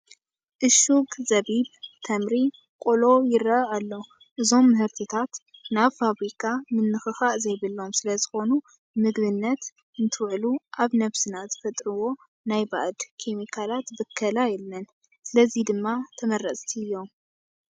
እሹግ ዘቢብ፣ ተምሪ፣ ቆሎ ይርአ ኣሎ፡፡ እዞም ምህርትታት ናይ ፋብሪካ ምንኽኻእ ዘይብሎም ስለኾኑ ንምግብነት እንትውዕሉ ኣብ ነብስና ዝፈጥርዎ ናይ ባእድ ኬሜካት ብከላ የለን፡፡ ስለዚ ድማ ተመረፅቲ እዮም፡፡